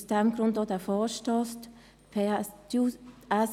Aus diesem Grund wurde dieser Vorstoss eingereicht.